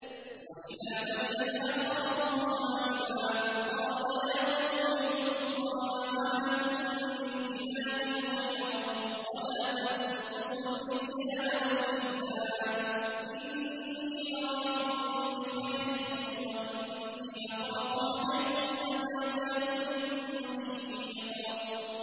۞ وَإِلَىٰ مَدْيَنَ أَخَاهُمْ شُعَيْبًا ۚ قَالَ يَا قَوْمِ اعْبُدُوا اللَّهَ مَا لَكُم مِّنْ إِلَٰهٍ غَيْرُهُ ۖ وَلَا تَنقُصُوا الْمِكْيَالَ وَالْمِيزَانَ ۚ إِنِّي أَرَاكُم بِخَيْرٍ وَإِنِّي أَخَافُ عَلَيْكُمْ عَذَابَ يَوْمٍ مُّحِيطٍ